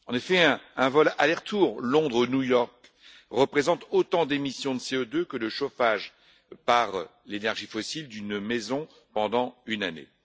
En effet, un vol aller retour Londres New York représente autant d'émissions de CO2 que le chauffage par l'énergie fossile d'une maison pendant une année.